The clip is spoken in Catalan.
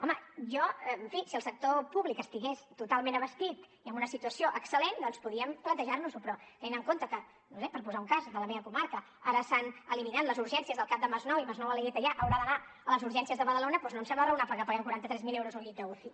home jo en fi si el sector públic estigués totalment abastit i en una situació excel·lent doncs podíem plantejar nos ho però tenint en compte que no ho sé per posar un cas de la meva comarca ara s’han eliminat les urgències del cap de masnou i masnou alella i teià hauran d’anar a les urgències de badalona doncs no em sembla raonable que paguem quaranta tres mil euros per un llit d’uci